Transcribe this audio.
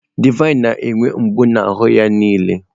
Divine na-enwe mgbu n'ahụ ya niile.